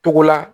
Togo la